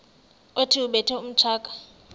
othi ubethe utshaka